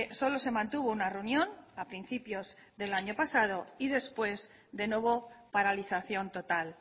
solo se mantuvo una reunión a principios del año pasado y después de nuevo paralización total